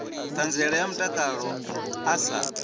ṱhanziela ya mutakalo a sa